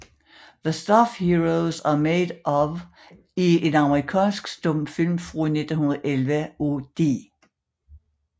The Stuff Heroes Are Made Of er en amerikansk stumfilm fra 1911 af D